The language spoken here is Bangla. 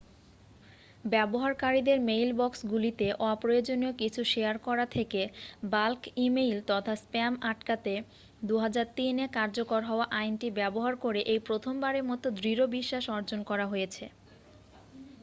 ব্যবহারকারীদের মেইলবক্সগুলিতে অপ্রয়োজনীয় কিছু শেয়ার করা থেকে বাল্ক ইমেইল তথা স্প্যাম আটকাতে 2003 এ কার্যকর হওয়া আইনটি ব্যবহার করে এই প্রথমবারের মতো দৃঢ় বিশ্বাস অর্জন করা হয়েছে